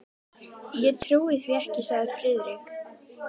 Ég trúi því ekki, sagði Friðrik.